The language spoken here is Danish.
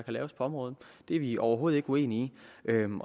området det er vi overhovedet ikke uenige i